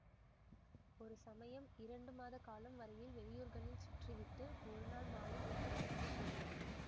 ஒருசமயம் இரண்டுமாத காலம் வரையில் வெளியூர்களில் சுற்றிவிட்டு ஒருநாள் மாலை வீட்டுக்கு வந்து சேர்ந்தான்